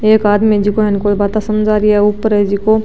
एक आदमी जिको उन कोई बाता समझा रिया ऊपर है जिको --